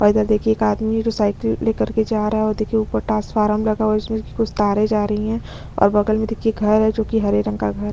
और इधर देखिये एक आदमी है जो साइकिल ले कर जा रहा है और देखिये ऊपर ट्रांसफारम लगा हुआ है इसमें से कुछ तारे जा रही है और बगल में देखिये घर है जो हरे रंग का घर --